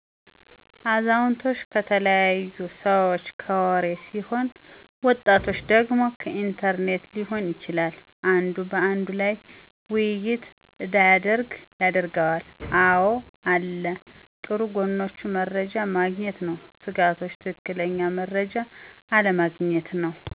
አዛውቶች ከተለያዩ ሰዎች ከወሪ ሲሆን ወጣቶች ደግሞ ከኢንተርኔት ሊሆን ይችላል። አንዱ በአንዱ ላይ ወይይት እዳያደረግ ያደረገዋል። አወ አለ ጥሩ ጎኖች መረጃ ማግኘት ነው። ስጋቶች ትክክለኛ መረጃ አለማግኘት ነው።